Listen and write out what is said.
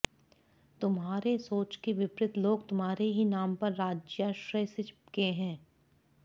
तुम्हारे सोच के विपरीत लोग तुम्हारे ही नाम पर राज्याश्रय से चिपके हैं